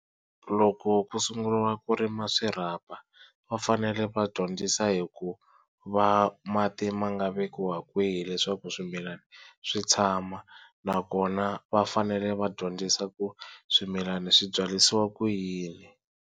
Loko ku sunguriwa ku rima swirhapa va fanele va dyondzisa hi ku va mati ma nga vekiwa kwihi leswaku swimilana swi tshama, nakona va fanele va dyondzisa ku swimilana swi byarisiwa ku yini.